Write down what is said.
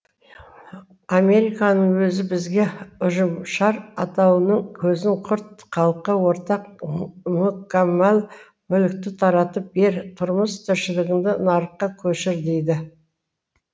американың өзі бізге ұжымшар атаулының көзін құрт халыққа ортақ мүкәммал мүлікті таратып бер тұрмыс тіршілігіңді нарыққа көшір дейді